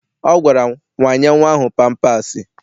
Ọ gwara m, wanye nnwa ahụ pampaasị!